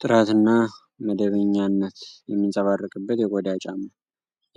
ጥራትና መደበኛነት የሚንጸባረቅበት የቆዳ ጫማ።